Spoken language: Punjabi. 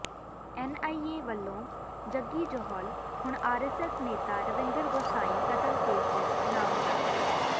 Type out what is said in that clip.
ਐਨਆਈਏ ਵੱਲੋਂ ਜੱਗੀ ਜੌਹਲ ਹੁਣ ਆਰਐਸਐਸ ਨੇਤਾ ਰਵਿੰਦਰ ਗੋਸਾਈਂ ਕਤਲ ਕੇਸ ਵਿੱਚ ਨਾਮਜ਼ਦ